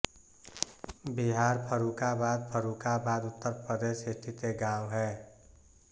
बिहार फर्रुखाबाद फर्रुखाबाद उत्तर प्रदेश स्थित एक गाँव है